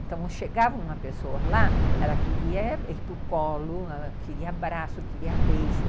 Então, chegava uma pessoa lá, ela queria ir para o colo, ela queria abraço, queria beijo.